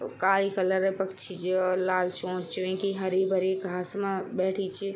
काल कलर क पक्षी च लाल चोंच च विंकी हरी भरी घास मा बैठीं च।